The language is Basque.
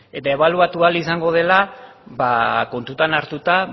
eta ebaluatua ahal izango dela ba kontutan hartuta